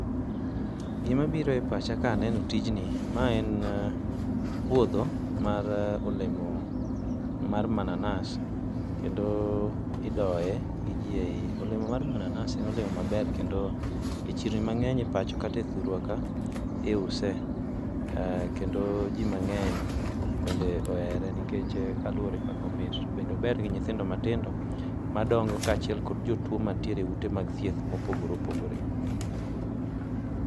Gima biro e pacha ka eneno tijni, ma en puodho mar olemo mar mananas kendo idoye gi ji mang'eny. Olemo mar mananas en olemo maber ahinya kendo e chirni mang'eny e pacho kata e thurwa ka iuse, kendo ji mangeny bende ohere kaluwore gi kaka omit. To bende ober kod nyithindo madongo kachiel gi jotuo man tiere eut thieth mopogore opogore.